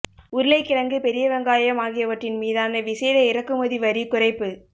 உருளைக்கிழங்கு பெரிய வெங்காயம் ஆகியவற்றின் மீதான விசேட இறக்குமதி வரி குறைப்பு